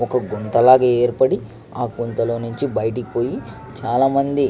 ఒక గుంత లాగ ఏర్పడి ఆ గుంత లో నుంచి బయటకి పోయి చాల మంది --